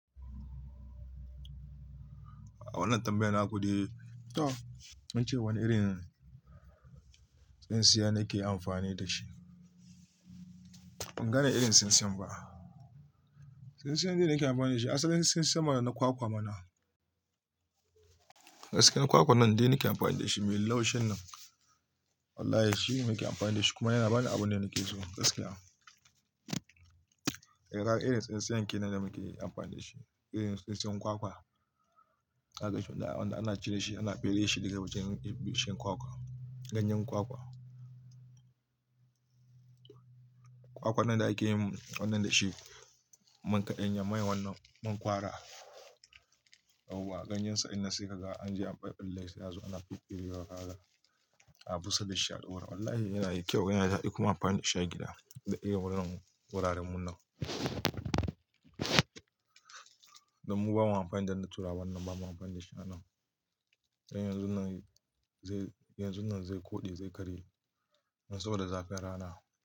A wannan tambayar naku dai to, ance wane irin tsintsiya nake amfani da shi? Ban gane irin tsintsiyan ba. Tsintsiyan dai da nake amfani da shi, asalin tsintsiyan ma na kwakwa mana. Gaskiyar kwakwa nan dai nake amfani da shi, mai laushin nan. Wallahi shine nake amfani da shi, kuma yana bani abun da nike so gaskiya. Eh kaga irin tsintsiyan ke nan da muke amfani da shi. Irin tsintsiyan kwakwa. Zaka ganshi wanda- wanda ana cire shi, ana fere shi daga wajen bishiyar kwakwa. Ganyen kwakwa. Kwakwan nan da ake yin wannan da shi, man kaɗanya, man wannan, man ƙwara. Yauwa, ganyensa in nan saikaga anje an ɓaɓɓalle shi sai a zo ana fiffille wa a busa da shi a ɗaura. Wallahi yana yi kyau, yana da daɗi kuma amfani da shi a gida, da irin wuraren munan. Don mu bamu amfani da na tura wannan, bamu amfani da shi a nan. Don yanzun nan zai, yanzun nan zai koɗe zai karye. Ma saboda zafin rana.